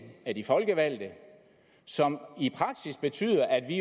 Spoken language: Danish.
af de folkevalgte og som i praksis betyder at vi